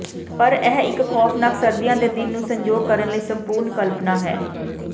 ਪਰ ਇਹ ਇੱਕ ਖੌਫ਼ਨਾਕ ਸਰਦੀਆਂ ਦੇ ਦਿਨ ਨੂੰ ਸੰਜੋਗ ਕਰਨ ਲਈ ਸੰਪੂਰਣ ਕਲਪਨਾ ਹੈ